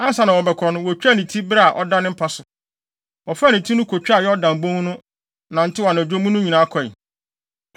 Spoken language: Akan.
Ansa na wɔbɛkɔ no, wotwaa ne ti bere a ɔda ne mpa so. Wɔfaa ne ti no kotwaa Yordan bon no, nantew anadwo mu no nyinaa kɔe.